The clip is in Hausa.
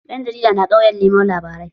Ɗan jarida na ƙauye neman labarai